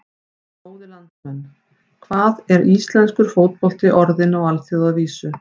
Góðir landsmenn, hvað er íslenskur fótbolti orðinn á alþjóðavísu?